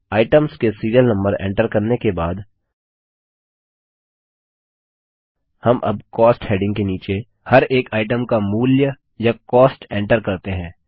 items के serial number enter करने के बाद हम अब कॉस्ट हेडिंग के नीचे हर एक आइटम का मूल्य या कॉस्ट एन्टर करते हैं